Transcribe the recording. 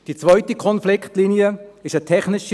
Die zweite Konfliktlinie ist eine technische.